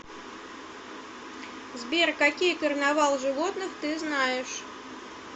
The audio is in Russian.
сбер какие карнавал животных ты знаешь